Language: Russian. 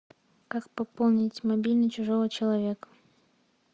как пополнить мобильный чужого человека